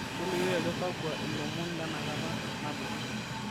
tolikioki ajo kakua ilomon lenakata nalotu